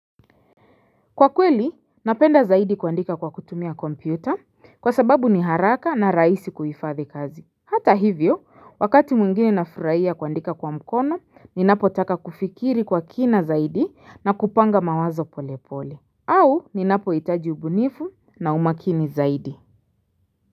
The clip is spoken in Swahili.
Kwa kweli, napenda zaidi kuandika kwa kutumia kompyuta kwa sababu ni haraka na rahisi kuhifadhi kazi. Hata hivyo, wakati mwingine nafurahia kuandika kwa mkono, ninapo taka kufikiri kwa kina zaidi na kupanga mawazo pole pole. Au, ninapo hitaji ubunifu na umakini zaidi.